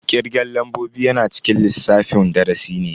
Kirgen lambobi yana cikin lissafin darasi ne.